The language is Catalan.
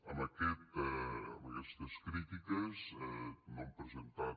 amb aquestes crítiques no hem presentat